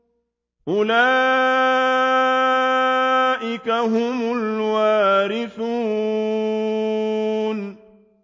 أُولَٰئِكَ هُمُ الْوَارِثُونَ